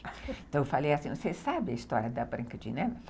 Então, eu falei assim, você sabe a história da branca de neve?